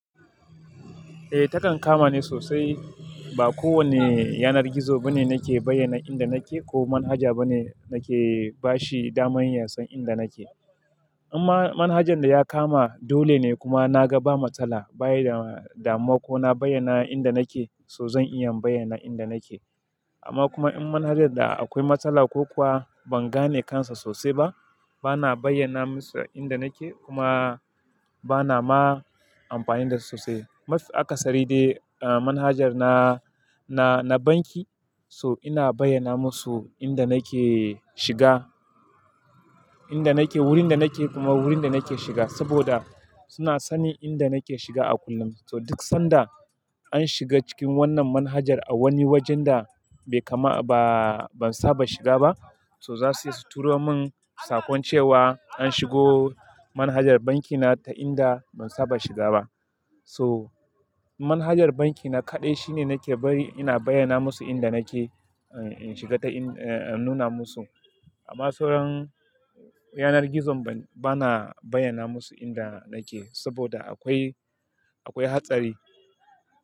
Eh, takan kama ni sosai. Ba kowane yanar gizo ba ne nake bayyana inda nake ko manhaja ba ne nake bashi damar yasan inda nake. Amma manhajan da ya kama dole ne kuma na ga ba matsala, bayi damuwa ko na bayyana inda nake, so zan iya bayyana inda nake. Amma kuma in manhajar da akwai matsala ko kuwa ban gane kansa sosai ba, bana bayyana musu inda nake kuma bana ma amfani da su sosai. Mafi akasari dai, ah manhajar na, na, na banki so ina bayyana musu inda nake shiga, inda nake, wurin da nake kuma wurin da nake shiga saboda suna sanin inda nake shiga a kullum. So duk sanda an shiga cikin wannan manhajar a wani wajen da bai kama ba, ban saba shiga ba, so za su turo min sakon cewa an shigo manhajar banki na ta inda ban saba shiga ba. So manhajar banki na kaɗai shine nake bari ina bayyana musu inda nake, in shiga ta in, a nuna musu. Amma sauran yanar gizon bana bayyana musu inda nake saboda akwai, akwai hatsari.